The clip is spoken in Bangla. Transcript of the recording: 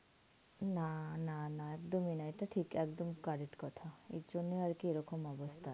না না না একদমই না. এটা ঠিক, একদম correct কথা. এইজন্য আর কি এরকম অবস্থা.